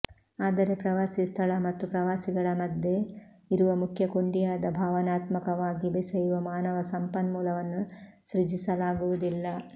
ಆದರೆ ಪ್ರವಾಸಿ ಸ್ಥಳ ಮತ್ತು ಪ್ರವಾಸಿಗಳ ಮಧ್ಯೆ ಇರುವ ಮುಖ್ಯ ಕೊಂಡಿಯಾದ ಭಾವನಾತ್ಮಕವಾಗಿ ಬೆಸೆಯುವ ಮಾನವ ಸಂಪನ್ಮೂಲವನ್ನು ಸೃಜಿಸಲಾಗುವುದಿಲ್ಲ